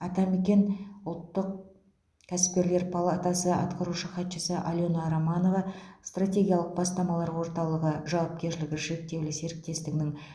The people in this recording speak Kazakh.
атамекен ұлттық кәсіпкерлер палатасы атқарушы хатшысы алена романова стратегиялық бастамалар орталығы жауапкершілігі шектеулі серіктестігінің